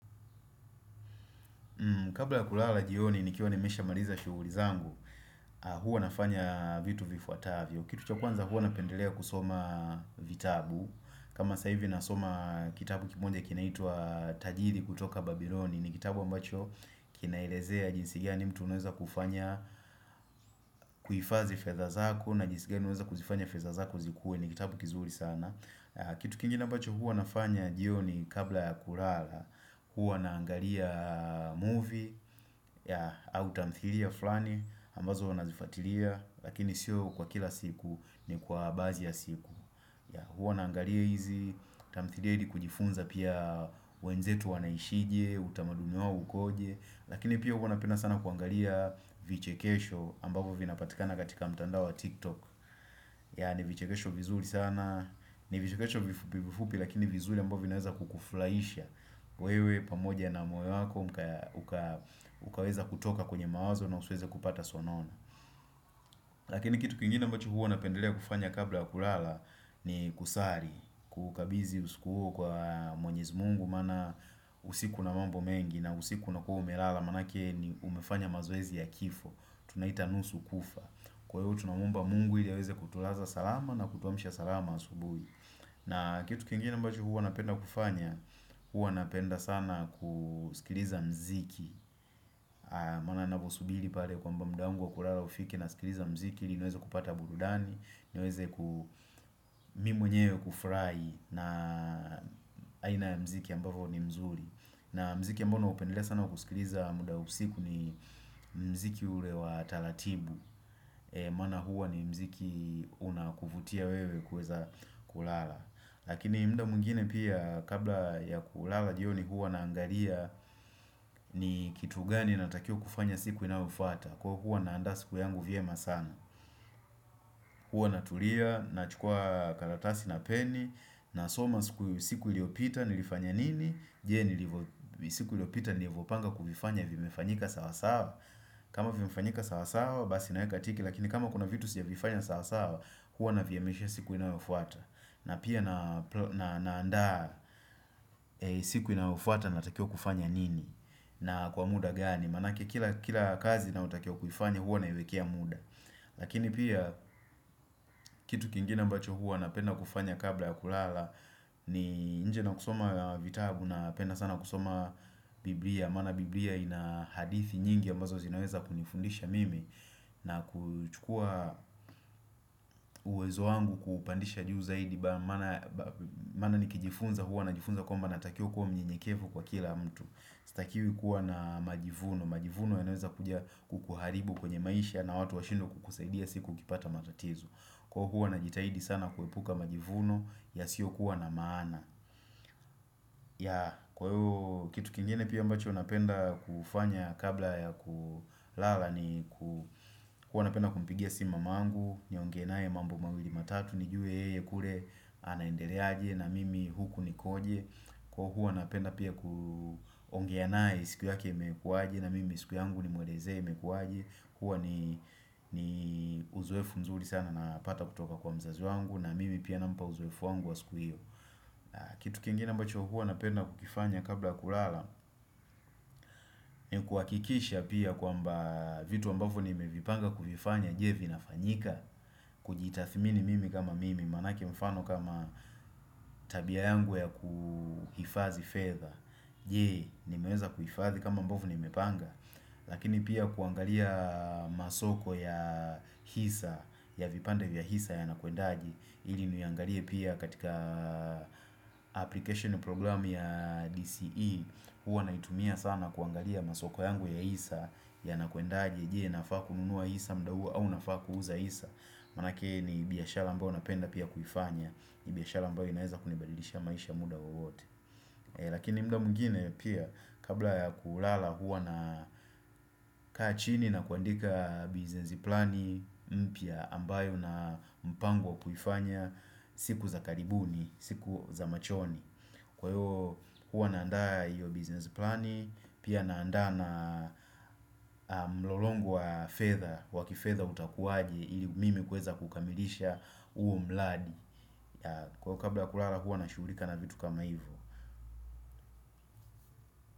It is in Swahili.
Kabla ya kulala jioni nikiwa nimeshamaliza shughuli zangu, huwa nafanya vitu vifuatavyo. Kitu cha kwanza huwa napendelea kusoma vitabu kama sa hivi nasoma kitabu kimoja kinaitwa tajiri kutoka Babyloni. Ni kitabu ambacho kinaelezea jinsi gani mtu anaweza kufanya kuhifadhi fedha zako na jinsi gani unaweza kuzifanya fedha zako zikue ni kitabu kizuri sana. Kitu kingine ambacho huwa nafanya jioni kabla ya kulala Huwa naangalia movie ya au tamthilia fulani ambazo huwa nazifuatilia lakini sio kwa kila siku, ni kwa baadhi ya siku Huwa naangalia hizi tamthilia ili kujifunza pia wenzetu wanaishi je, utamaduni wao ukoje, lakini pia huwa napenda sana kuangalia vichekesho ambavyo vinapatikana katika mtandao wa tiktok Yeah ni vichekesho vizuri sana, ni vichekesho vifupi vifupi lakini vizuri ambavyo vinaweza kukufurahisha wewe pamoja na moyo wako ukaweza kutoka kwenye mawazo na usiweze kupata sonono Lakini kitu kingine ambacho huwa napendelea kufanya kabla ya kulala ni kusali. Kukabidhi usiku huo kwa mwenyezi mungu maana usiku una mambo mengi na usiku unakuwa umelala maanake ni umefanya mazoezi ya kifo. Tunaita nusu kufa. Kwa hivyo tunamuomba mungu ili aweze kutulaza salama, na kutuamisha salama asubuhi. Na kitu kingine ambacho huwa napenda kufanya, huwa napenda sana kusikiliza muziki. Maana naposubiri pale kwamba muda wangu wa kulala ufike, nasikiliza muziki, ili niweze kupata burudani, niweze ku mimi mwenyewe kufurahi na aina ya mziki ambavyo ni mzuri na muziki ambao naupendelea sana kusikiliza muda wa usiku ni muziki ule wa taratibu Maana huwa ni muziki una kuvutia wewe kuweza kulala. Lakini muda mwingine pia kabla ya kulala jioni huwa naangalia ni kitu gani natakiwa kufanya siku inayofuata, Kwa kuwa naanda siku yangu vyema sana Huwa natulia, nachukua karatasi na peni nasoma siku iliyopita nilifanya nini, Je, siku iliyopita nilivopanga kuvifanya vimefanyika sawa sawa? Kama vimefanyika sawa sawa basi naeka tiki lakini kama kuna vitu sijavifanya sawasawa huwa navihamisha siku inayofata. Na pia naanda siku inayofuata natakiwa kufanya nini na kwa muda gani. Maanake kila kazi nayotakiwa kuifanya huwa naiwekea muda. Lakini pia kitu kingine ambacho huwa napenda kufanya kabla ya kulala ni nje na kusoma vitabu napenda sana kusoma biblia, maana biblia ina hadithi nyingi ambazo zinaweza kunifundisha mimi na kuchukua uwezo wangu kuupandisha juu zaidi Maana nikijifunza huwa najifunza kwamba natakiwa kuwa mnyenyekevu kwa kila mtu. Sitakiwi kuwa na majivuno. Majivuno yanaweza kuja kukuharibu kwenye maisha na watu washindwe kukusaidia siku ukipata matatizo. Kwa hivyo huwa najitahidi sana kuepuka majivuno yasiyokuwa na maana. Yeah kwa hivyo kitu kingine pia ambacho napenda kufanya kabla ya kulala ni huwa napenda kumpigia simu mamangu, niongee naye mambo mawili matatu nijue yeye kule anaendeleaje na mimi huku nikoje kwa huwa napenda pia kuongea naye siku yake imekuwaje na mimi siku yangu nimwelezee imekuwaje huwa ni uzoefu nzuri sana Napata kutoka kwa mzazi wangu na mimi pia nampa uzoefu wangu wa siku hiyo. Kitu kingine ambacho huwa napenda kukifanya kabla ya kulala ni kuhakikisha pia kwamba vitu ambavyo nimevipanga kuvifanya je, vinafanyika? Kujitathmini mimi kama mimi. Maanake mfano kama tabia yangu ya kuhifadhi fedha, je, nimeweza kuhifadhi kama ambavyo nimepanga? Lakini pia kuangalia masoko ya hisa, ya vipande vya hisa yanakwendaje. Ili niangalie pia katika application programu ya DCE. Huwa naitumia sana kuangalia masoko yangu ya hisa yanakuendaje. Je, nafaa kununua hisa muda huu au nafaa kuuza hisa? Maanake ni biashara ambayo napenda pia kuifanya, ni biashara ambayo inaeza kunibadilishia maisha muda wowote. Lakini muda mwingine pia kabla ya kulala huwa nakaa chini na kuandika business plani mpya ambayo na mpango wa kuifanya siku za karibuni, siku za machoni. Kwa hiyo huwa naandaa hiyo business plani Pia naandaa na mlolongo wa fedha, wa kifedha utakuwaje ili mimi kuweza kukamilisha huo mradi. Kwa kabla kulala huwa nashughulika na vitu kama hivyo.